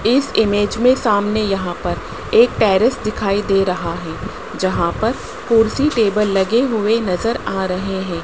इस इमेज में सामने यहां पर एक टेरेस दिखाई दे रहा है जहां पर कुर्सी टेबल लगे हुए नजर आ रहे हैं।